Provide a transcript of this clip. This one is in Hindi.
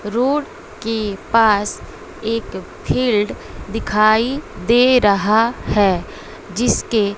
रोड के पास एक फील्ड दिखाई दे रहा है जिसके--